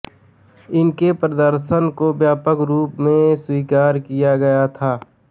उनके प्रदर्शन को व्यापक रूप से स्वीकार किया गया था